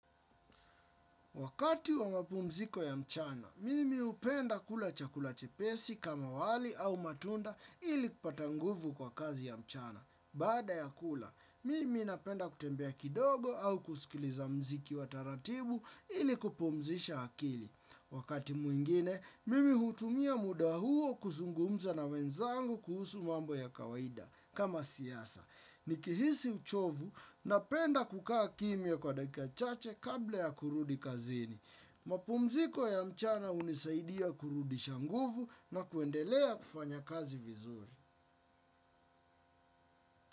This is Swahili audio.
Wakati wa mapumziko ya mchana, mimi hupenda kula chakula chepesi kama wali au matunda ili kupata nguvu kwa kazi ya mchana. Baada ya kula, mimi napenda kutembea kidogo au kusikiliza muziki wa taratibu ili kupumzisha akili. Wakati mwingine, mimi hutumia muda huo kuzungumza na wenzangu kuhusu mambo ya kawaida. Kama siasa, nikihisi uchovu napenda kukaa kimya kwa dakika chache, kabla ya kurudi kazini. Mapumziko ya mchana hunisaidia kurudisha nguvu na kuendelea kufanya kazi vizuri.